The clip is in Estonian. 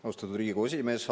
Austatud Riigikogu esimees!